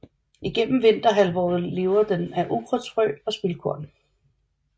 Igennem vinterhalvåret lever den af ukrudtsfrø eller spildkorn